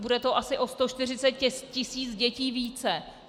Bude to asi o 140 tisíc dětí více.